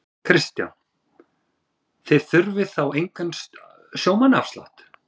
Kristján: Þið þurfið þá engan sjómannaafslátt?